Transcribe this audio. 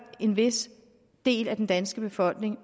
en vis del af den danske befolkning og